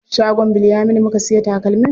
Shagon Bilyaminu muka siya takalmin.